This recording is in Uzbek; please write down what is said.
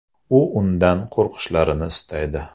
U undan qo‘rqishlarini istaydi.